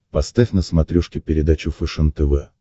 поставь на смотрешке передачу фэшен тв